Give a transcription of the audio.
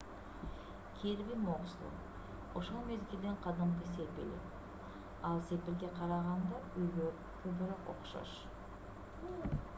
кирби муксло ошол мезгилдин кадимки сепили ал сепилге караганда үйгө көбүрөөк окшош